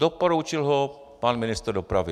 Doporučil ho pan ministr dopravy.